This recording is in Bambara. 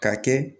Ka kɛ